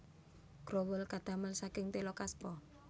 Growol kadamel saking téla kaspa